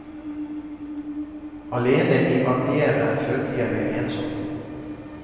Alene i atelieret følte jeg meg ensom.